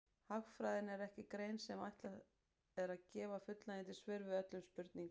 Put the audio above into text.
Hagfræðin er ekki grein sem ætlað er að gefa fullnægjandi svör við öllum spurningum.